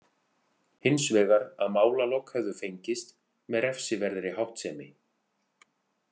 Hins vegar að málalok hefðu fengist með refsiverðri háttsemi.